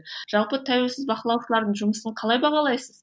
жалпы тәуілсіз бақылаушылардың жұмысын қалай бағалайсыз